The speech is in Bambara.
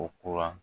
Ko kura